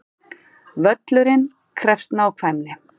Völlurinn krefst nákvæmni